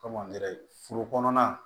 Komi angɛrɛ foro kɔnɔna